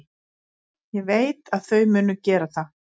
Ég veit að þau munu gera það.